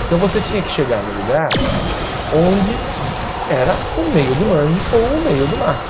Então você tinha que chegar no lugar onde era o meio do mangue ou o meio do mato.